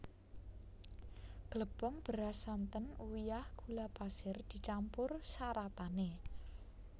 Glepung beras santen uyah gula pasir dicampur saratané